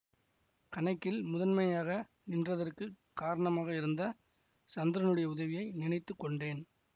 கணக்கில் முதன்மையாக நின்றதற்குக் காரணமாக இருந்த சந்திரனுடைய உதவியை நினைத்து கொண்டேன்